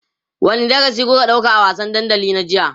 wani darasi kuka ɗauka a wasan dandali na jiya?